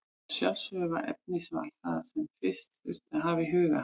Að sjálfsögðu var efnisval það sem fyrst þurfti að hafa í huga.